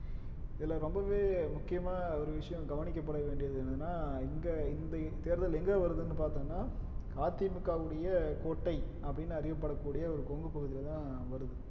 இதுல ரொம்பவே முக்கியமான ஒரு விஷயம் கவனிக்கப்பட வேண்டியது என்னன்னா இங்க இந்த தேர்தல் எங்க வருதுன்னு பார்த்தோம்னா அதிமுகவுடைய கோட்டை அப்படின்னு அறியப்படக்கூடிய ஒரு கொங்கு பகுதியிலதான் வருது